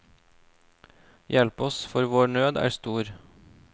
Hjelp oss for vår nød er stor.